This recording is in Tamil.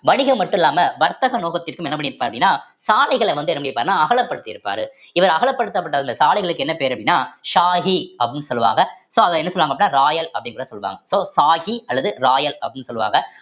வணிகம் மட்டும் இல்லாம வர்த்தக நோகத்திற்க்கும் என்ன பண்ணிருப்பாரு அப்படின்னா சாலைகளை வந்து என்ன பண்ணிருப்பாருன்னா அகலப்படுத்தி இருப்பாரு இவர் அகலப்படுத்தப்பட்ட அந்த சாலைகளுக்கு என்ன பேரு அப்படின்னா ஷாஹி அப்படின்னு சொல்லுவாங்க so அத என்ன சொல்லுவாங்க அப்படின்னா ராயல் அப்படின்னு சொல்லுவாங்க so ஷாஹி அல்லது ராயல் அப்படின்னு சொல்லுவாங்க